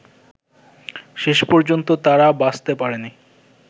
শেষ পর্যন্ত তাঁরা বাঁচতে পারেননি